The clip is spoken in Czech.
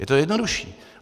Je to jednodušší.